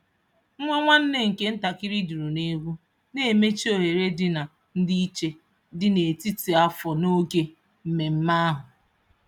Nwa nwanne nke ntakịrị duru n'egwu, na-emechi ohere dị na ndịiche dị n'etiti afọ n'oge mmemme ahụ.